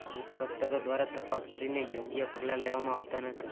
ઈન્સ્પેકટરો દ્વારા તપાસ કરીને યોગ્ય પગલાં લેવામાં આવતાં નથી